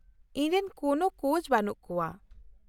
ᱼᱤᱧ ᱨᱮᱱ ᱠᱚᱱᱳ ᱠᱳᱪ ᱵᱟᱹᱱᱩᱜ ᱠᱚᱣᱟ ᱾